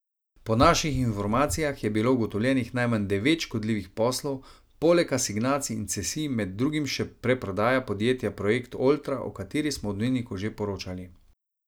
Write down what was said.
Po naših informacijah je bilo ugotovljenih najmanj devet škodljivih poslov, poleg asignacij in cesij med drugim še preprodaja podjetja Projekt Oltra, o kateri smo v Dnevniku že poročali.